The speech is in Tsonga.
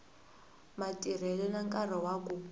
matirhelo na nkarhi wa ku